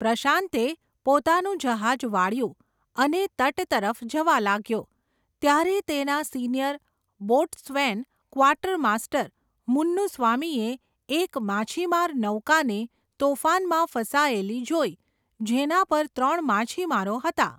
પ્રશાંતે, પોતાનું જહાજ વાળ્યું, અને તટ તરફ જવા લાગ્યો, ત્યારે તેના સિનિયર બોટ્સ્વૈન, ક્વાર્ટર માસ્ટર, મુન્નુસ્વામીએ, એક માછીમાર નૌકાને, તોફાનમાં ફસાયેલી જોઈ, જેના પર ત્રણ માછીમારો હતા.